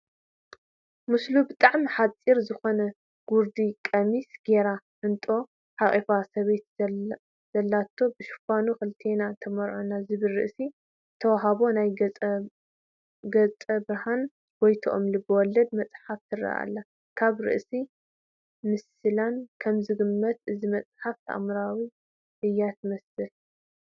ምስሉ ብጣዕሚ ሓፂር ዝኾነ ጉርዲ ቀሚሽ ገይራ ሕንጦ ዝሓቖፈት ሰበይቲ ዘለቶ ብሽፋኑ ንክልቴና ተመርዖ ዝብል ርእሲ ዝተዋህባ ናይ ጸጋብርሃን ጎይትኦም ልበ ወለድ መፅሓፍ ትርአ ኣላ፡፡ ካብ ርእሳን ምስላን ከምዝግመት እዛ መፅሓፍ ተኣምራዊት እያ ትመስል፡፡